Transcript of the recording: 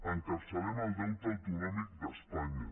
encapçalem el deute autonòmic d’espanya